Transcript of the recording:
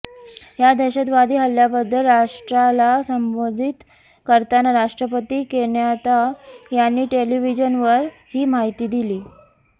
या दहशतवादी हल्ल्याबद्दल राष्ट्राला संबोधित करताना राष्ट्रपती केन्याता यांनी टेलिव्हिजनवर ही माहिती दिलीय